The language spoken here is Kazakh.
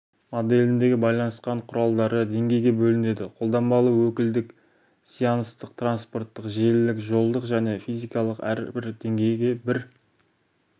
моделіндегі байланыс құралдары деңгейге бөлінеді қолданбалы өкілдік сеанстық транспорттық желілік жолдық және физикалық әрбір деңгей бір